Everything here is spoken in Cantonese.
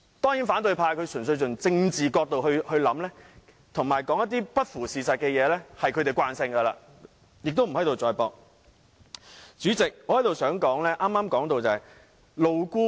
當然，反對派純粹從政治角度考慮問題，而且說話不符事實，這已是他們的習慣，無須在這裏多作爭論。